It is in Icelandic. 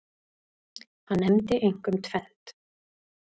Hann nefndi einkum tvennt.